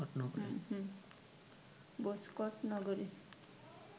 ভোজকট নগরে